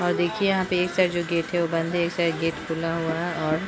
और देखिए यहां पे जो एक साइड जो गेट है वो बंद है और एक साइड गेट खुला हुआ है और--